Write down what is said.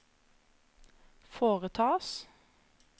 foretas